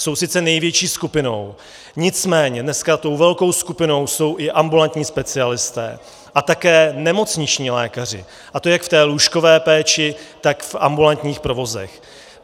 Jsou sice největší skupinou, nicméně dneska tou velkou skupinou jsou i ambulantní specialisté a také nemocniční lékaři, a to jak v té lůžkové péči, tak v ambulantních provozech.